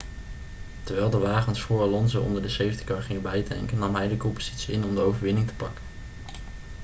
terwijl de wagens vóór alonso onder de safety car gingen bijtanken nam hij de koppositie in om de overwinning te pakken